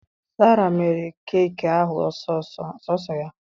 Sarah mere keki ahụ sọọsọ ya